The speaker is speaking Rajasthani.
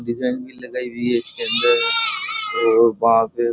भी लगाई हुई है इसके अंदर और वहां पे --